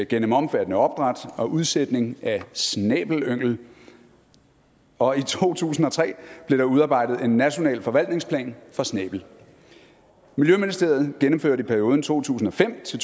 gennem omfattende opdræt og udsætning af snæbelyngel og i to tusind og tre blev der udarbejdet en national forvaltningsplan for snæbel miljøministeriet gennemførte i perioden to tusind og fem til